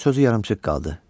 onun sözü yarımçıq qaldı.